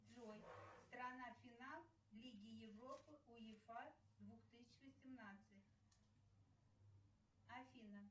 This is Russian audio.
джой страна финал лиги европы уефа две тысячи семнадцать афина